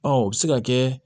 Ɔ o bɛ se ka kɛ